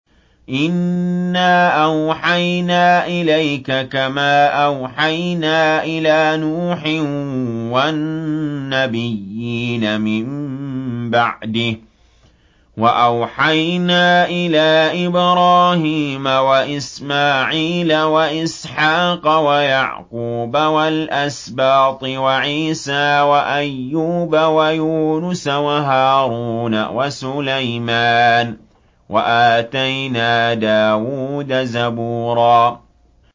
۞ إِنَّا أَوْحَيْنَا إِلَيْكَ كَمَا أَوْحَيْنَا إِلَىٰ نُوحٍ وَالنَّبِيِّينَ مِن بَعْدِهِ ۚ وَأَوْحَيْنَا إِلَىٰ إِبْرَاهِيمَ وَإِسْمَاعِيلَ وَإِسْحَاقَ وَيَعْقُوبَ وَالْأَسْبَاطِ وَعِيسَىٰ وَأَيُّوبَ وَيُونُسَ وَهَارُونَ وَسُلَيْمَانَ ۚ وَآتَيْنَا دَاوُودَ زَبُورًا